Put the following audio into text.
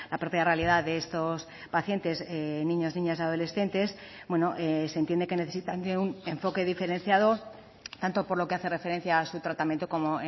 propia realidad de estos pacientes niños niñas y adolescentes se entiende que necesitan de un enfoque diferenciado tanto por lo que hace referencia a su tratamiento como